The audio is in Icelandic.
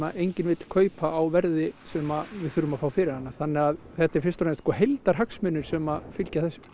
enginn vill kaupa á því verði sem við þurfum að fá fyrir hana þannig að þetta eru fyrst og fremst heildarhagsmunir sem fylgja þessu